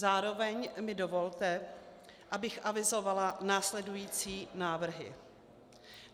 Zároveň mi dovolte, abych avizovala následující návrhy.